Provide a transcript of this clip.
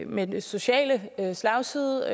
med den sociale slagside